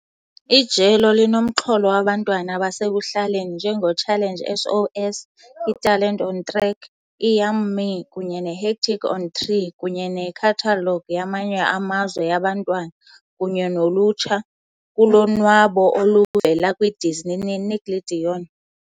Ijelo linomxholo wabantwana basekuhlaleni njengoChallenge SOS, iTalente on Track, i-Yum.Me kunye neHectic on 3, kunye nekhathalogu yamanye amazwe yabantwana kunye nolutsha kulonwabo oluvela kwiDisney neNickelodeon.